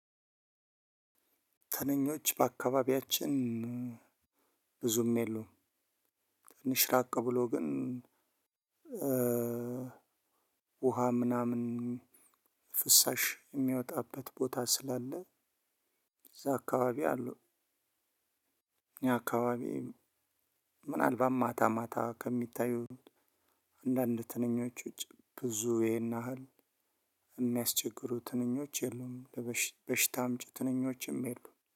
ትንኞች በአካባቢያችን ብዙም የሉም። ትንሽ ራቅ ብሎ ግን። ውሃ ምናምን ፍሳሽ የሚወጣበት ቦታ ስላለ። እዛ አካባቢ አሉ። እኛ አካባቢ የሉም። ምናልባት ማታ ማታ ከሚታዩት አንዳንድ ትንኞች ውጪ። ብዙ ይሄን ያህል የሚያስቸግሩ ትንኞች የሉም። ለበሽታ በሽታ አምጭ ትንኞችም የሉም